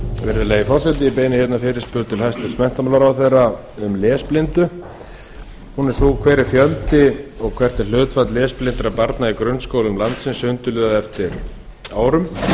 virðulegi forseti ég beini fyrirspurn til hæstvirts menntamálaráðherra um lesblind hún er svohljóðandi fyrstu hver er fjöldi og hlutfall lesblindra barna í grunnskólum landsins sundurliðað eftir árgangi